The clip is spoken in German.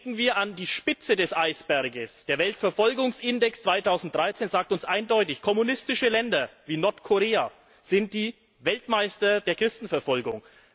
Denken wir an die Spitze des Eisbergs Der Weltverfolgungsindex 2013 sagt uns eindeutig Kommunistische Länder, wie Nordkorea, sind die Weltmeister der Christenverfolgung.